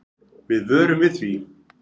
Við vörum við því.